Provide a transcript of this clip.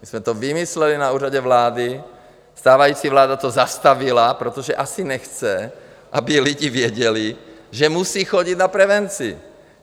My jsme to vymysleli na Úřadě vlády, stávající vláda to zastavila, protože asi nechce, aby lidi věděli, že musí chodit na prevenci.